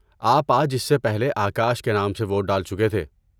آپ آج اس سے پہلے آکاش کے نام سے ووٹ ڈال چکے تھے۔